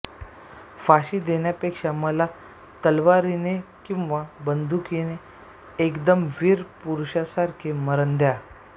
फाशी देण्यापेक्षा मला तलवारीने किंवा बंदुकीने एकदम वीर पुरुषासारखे मरण द्या